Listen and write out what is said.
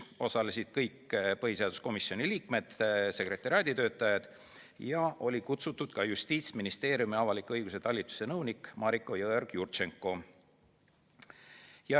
Osalesid kõik põhiseaduskomisjoni liikmed ja sekretariaadi töötajad ning kutsutud oli ka Justiitsministeeriumi avaliku õiguse talituse nõunik Mariko Jõeorg-Jurtšenko.